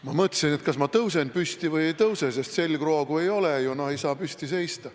Ma mõtlesin, kas ma tõusen püsti või ei tõuse, sest kui selgroogu ei ole, ei saa püsti seista.